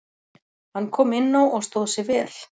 Hann kom inná og stóð sig vel.